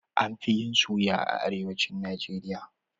An fi yin suya a arewacin Najeriya